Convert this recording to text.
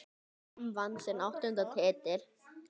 Fram vann sinn áttunda titil.